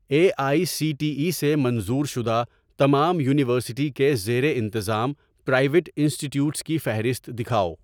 a I C T E سے منظور شدہ تمام یونیورسٹی کے زیر انتظام پرائیویٹ انسٹی ٹیوٹس کی فہرست دکھاؤ